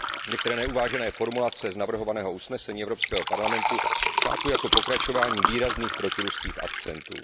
Některé neuvážené formulace z navrhovaného usnesení Evropského parlamentu chápu jako pokračování výrazných protiruských akcentů.